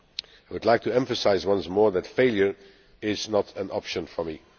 I would like to emphasise, once more, that failure is not an option for me.